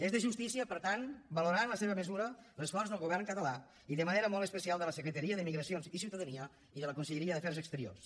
és de justícia per tant valorar en la seva mesura l’esforç del govern català i de manera molt especial de la secretaria de migracions i ciutadania i de la conselleria d’afers exteriors